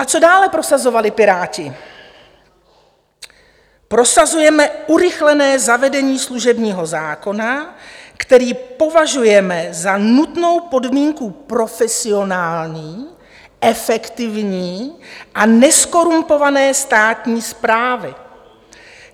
A co dále prosazovali Piráti: "Prosazujeme urychlené zavedení služebního zákona, který považujeme za nutnou podmínku profesionální, efektivní a nezkorumpované státní správy.